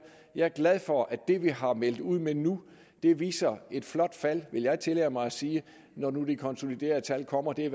jeg er glad for at det vi har meldt ud nu viser et flot fald vil jeg tillade mig at sige når nu de konsoliderede tal kommer de